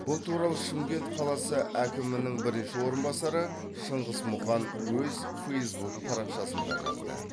бұл туралы шымкент қаласы әкімінің бірінші орынбасары шыңғыс мұқан өз фейзбук парақшасында жазды